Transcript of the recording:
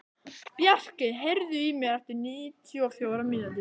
Bjarki, heyrðu í mér eftir níutíu og fjórar mínútur.